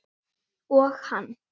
Og hann.